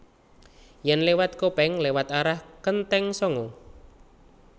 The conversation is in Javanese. Yen lewat Kopeng lewat arah Kenteng Sanga